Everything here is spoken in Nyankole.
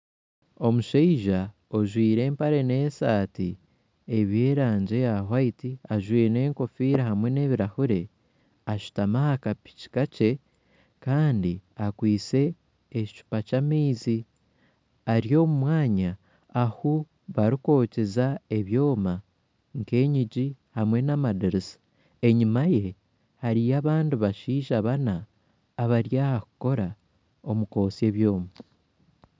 Omushaija ojwire empare nesaati ebyaraagi erikwera ajwaire enkofiira nebirahuri ashutami ahakapiki kakye Kandi akwaitse akacupa k'amaizi ari mumwanya ahu barikwokyeza ebyoma nk'eyingi hamwe n'amadirisa Kandi enyuma ye hariyo abandi bashaija bana abari ahokukorera omu kwotsya ebyoma